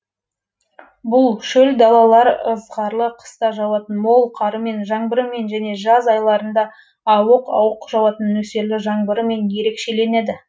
бұл шөл далалар ызғарлы қыста жауатын мол қарымен жаңбырымен және жаз айларында ауық ауық жауатын нөсерлі жаңбырымен ерекшеленеді